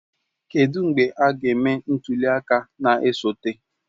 Kedụ mgbe a ga-eme ntuli aka na-esote?